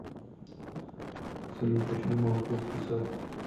салют почему молоко скисает